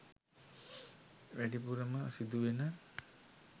වැඩිපුරම සිදු වෙන